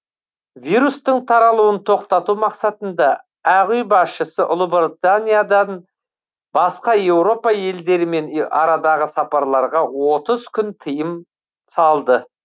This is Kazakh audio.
вирустың таралуын тоқтату мақсатында ақ үй басшысы ұлыбританиядан басқа еуропа елдерімен арадағы сапарларға отыз күнге тыйым салды